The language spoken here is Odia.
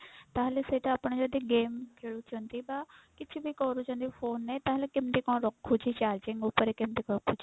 ତାହେଲେ ସେଇଟା ଆପଣ ଯଦି game ଖେଳୁଛନ୍ତି ବା କିଛି ବି କରୁଛନ୍ତି phone ରେ ତାହେଲେ କେମତି କଣ ରଖୁଛି charging ଉପରେ କେମତି ରଖୁଛି?